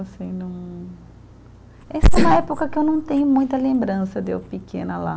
Assim, não. Essa é uma época que eu não tenho muita lembrança de eu pequena lá.